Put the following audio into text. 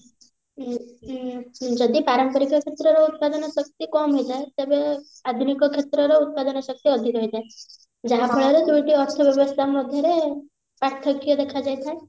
ହୁଁ ହୁଁ ଯଦି ପାରମ୍ପରିକ କ୍ଷେତ୍ରରେ ଉତ୍ପାଦନ ଶକ୍ତି କମ ହେଇଯାଏ ତେବେ ଆଧୁନିକ କ୍ଷେତ୍ରରେ ଉତ୍ପାଦନ ଶକ୍ତି ଅଧିକ ହେଇଥାଏ ଯାହା ଫଳରେ ଦୁଇଟି ମଧ୍ୟରେ ପାର୍ଥକ୍ୟ ଦେଖାଯାଇଥାଏ